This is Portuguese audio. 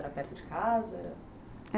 Era perto de casa?